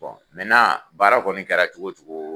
Bɔn mɛnan baara kɔni kɛra cogo o cogo